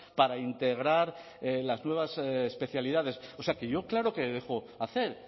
para integrar las nuevas especialidades o sea que yo claro que dejo hacer